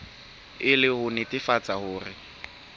e le ho nnetefatsa hore